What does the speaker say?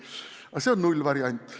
Aga see on nullvariant.